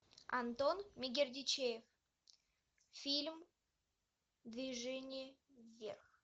антон мегердичев фильм движение вверх